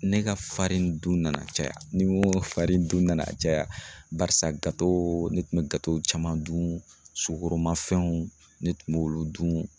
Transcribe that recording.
Ne ka dun nana caya ni n ko dun nana caya barisa ne tun be caman dun sugoroma fɛnw ne tun b'olu dun.